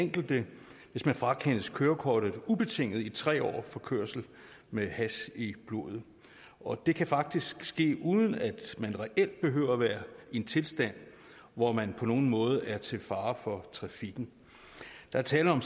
enkelte hvis man frakendes kørekortet ubetinget i tre år for kørsel med hash i blodet og det kan faktisk ske uden at man reelt behøver at være i en tilstand hvor man på nogen måde er til fare for trafikken der er tale om